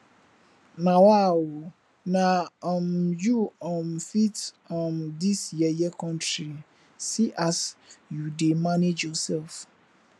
nawa ooo na um you um fit um dis yeye country see as you dey manage yourself